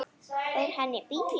Fór hann í bíó?